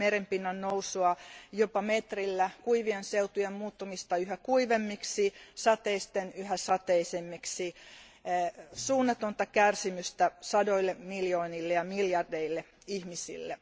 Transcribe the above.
merenpinnan nousua jopa metrillä, kuivien seutujen muuttumista yhä kuivemmiksi, sateisten yhä sateisemmiksi, suunnatonta kärsimystä sadoille miljoonille ja miljardeille ihmisille.